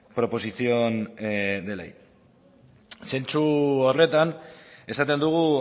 proposición de ley zentzu horretan esaten dugu